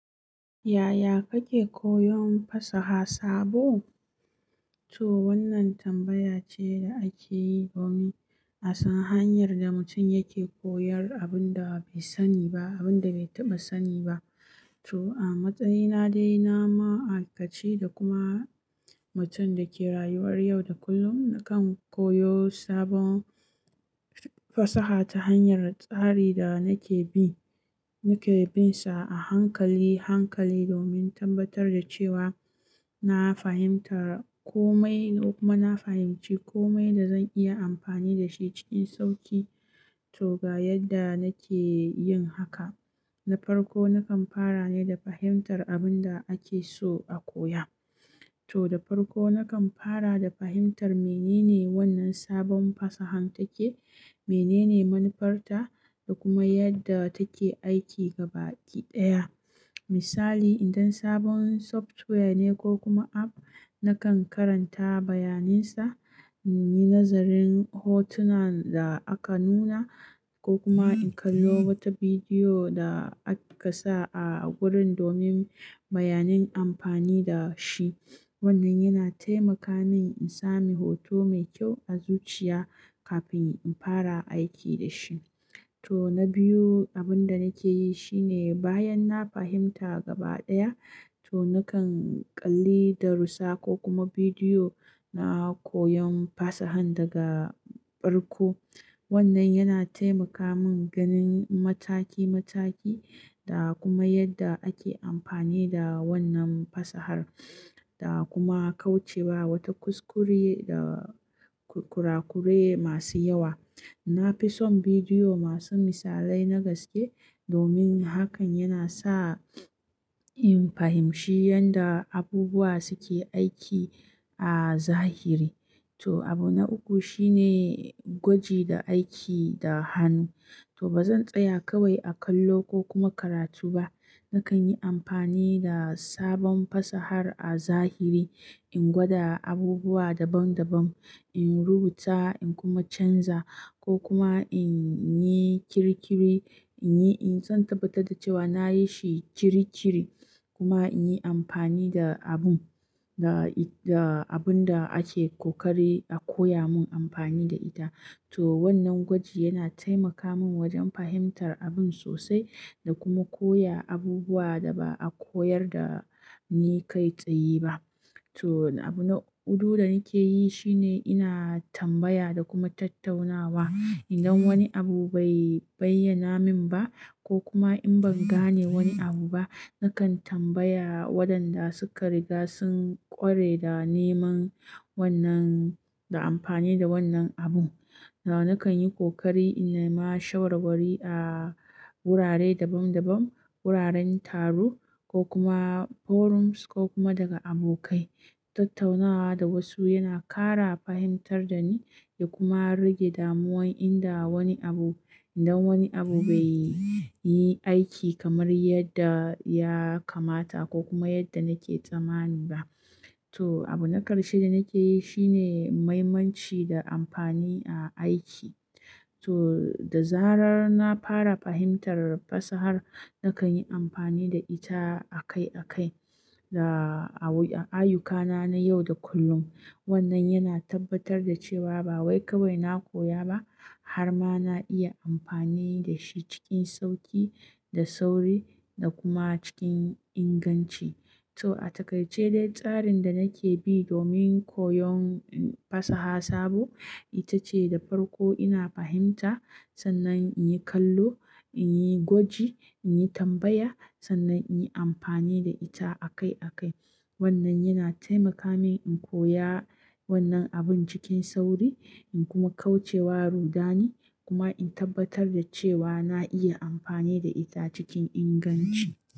Yaya kake koyon fasaha sabo? To wannan tambaya ce da ake yi domin a san hanyar da mutum yake koyar abun da bai sani ba, abun da bai taɓa sani ba. To a matsayina dai na ma'aikaci da kuma mutum da ke rayuwar yau da kullum, nakan koyo sabon fasaha ta hanyar tsari da nake bi, nake binsa a hankali, hankali domin tabbatar da cewa na fahimtar komai kuma na fahimci komai da zan iya amfani da shi cikin sauƙi. To ga yadda nake yin haka. Na farko nakan fara ne da fahimtar abun da ake so a koya. To da farko nakan fara da fahimtar menene wannan sabon fasahan take, menene manufarta da kuma yadda take aiki gabakiɗaya. Misali idan sabon software ne ko kuma app, nakan karanta bayaninsa, nayi nazarin hotunan da aka nuna ko kuma in kallo wata bidiyo da aka sa a gurin domin bayanin amfani da shi. Wannan yana taimaka min in sami hoto mai kyau a zuciya kafin in fara aiki da shi. To na biyu abun da nake yi shine bayan na fahimta gabaɗaya, to nakan ƙalli darussa ko kuma bidiyo na koyon fasahar daga farko. Wannan yana taimaka min ganin mataki mataki da kuma yadda ake amfani da wannan fasahar da kuma kaucewa wata kuskure da kurakure masu yawa. Na fi son bidiyo masu misalai na gaske domin hakan yana sa in fahimshi yanda abubuwa suke aiki a zahiri. To abu na uku shine gwaji da aiki da hannu. To bazan tsaya kawai a kallo ko kuma karatu ba. Nakan yi amfani da sabon fasahar a zahiri, in gwada abubuwa daban daban, in rubuta in kuma canza ko kuma in yi kirikiri, in yi, in zan tabbatar da cewa na yi shi kiri kiri kuma in yi amfani da abun, da abun da ake ƙoƙari a koya mun amfani da ita. To wannan gwaji yana taimaka min wajen fahimtar abun sosai da kuma koya abubuwa da ba a koyar da ni kai tsaye ba. To abu na hudu da nake yi shine ina tambaya da kuma tattaunawa. Idan wani abu bai bayyana min ba ko kuma in ban gane wani abu ba, nakan tambaya waɗanda suka riga sun ƙware da neman wannan, da amfani da wannan abu. Nakan yi ƙoƙari in nema shawar wari a wurare daban daban, wuraren taro ko kuma forums ko kuma daga abokai. Tattaunawa da wasu yana ƙara fahimtar da ni da kuma rage damuwan inda wani abu, idan wani abu bai yi aiki kamar yadda ya kamata ko kuma yadda nake tsammani ba. To abu na ƙarshe da nake yi shine maimanci da amfani a aiki. To da zarar na fara fahimtar fasahar, nakan yi amfani da ita akai akai da a ayyukana na yau da kullum. Wannan yana tabbatar da cewa ba wai kawai na koya ba har ma na iya amfani da shi cikin sauƙi da sauri da kuma cikin inganci. To a taƙaice dai tsarin da nake bi domin koyon fasaha sabo ita ce da farko ina fahimta sannan in yi kallo, in yi gwaji, in yi tambaya sannan in yi amfani da ita akai akai. Wannan yana taimaka min in koya wannan abun cikin sauri in kuma kauce wa rudani kuma in tabbatar da cewa na iya amfani da ita cikin inganci.